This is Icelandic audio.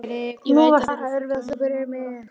Ég veit að þér er full og einlæg alvara.